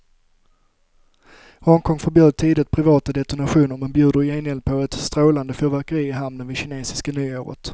Hongkong förbjöd tidigt privata detonationer men bjuder i gengäld på ett strålande fyrverkeri i hamnen vid kinesiska nyåret.